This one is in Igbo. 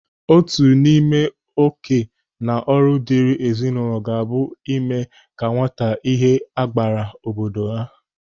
Otu n'ime ókè na ọrụ diri ezinụlọ ga-abụ ime ka nwata ihe abgara obodo obodo ha.